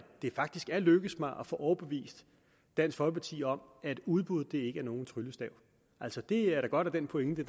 det faktisk er lykkedes mig at få overbevist dansk folkeparti om at udbuddet ikke er nogen tryllestav altså det er da godt at den pointe